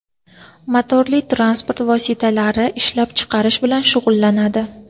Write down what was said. motorli transport vositalari ishlab chiqarish bilan shug‘ullanadi.